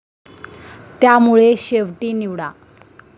त्यामुळे शेवटी निवडा?